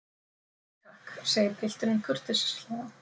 Nei takk, segir pilturinn kurteislega.